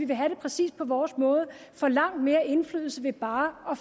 vil have det præcis på vores måde får langt mere indflydelse ved bare at